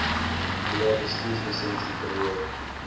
hulle bestuurslisensie verloor